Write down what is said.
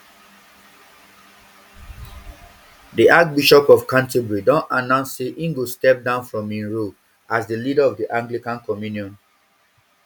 di archbishop of canterbury don announce say im go step down from im role as di leader of di anglican communion